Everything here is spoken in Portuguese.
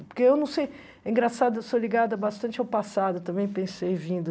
Porque eu não sei... Engraçado, eu sou ligada bastante ao passado, também pensei vindo.